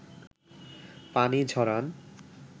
পানি ঝরান